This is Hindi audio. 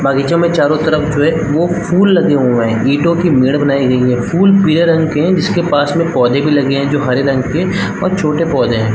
बगीचों में चारो तरफ जो हैं वो फूल लगे हुए है ईंटो की मेड़ बनायीं गयी है फूल पीले रंग के है जिसके पास में पौधे भी लगे है जो हरे रंग के और छोटे पौधे है।